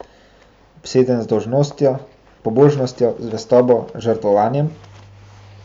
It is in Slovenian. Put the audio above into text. Obsedeni z dolžnostjo, pobožnostjo, zvestobo, žrtvovanjem?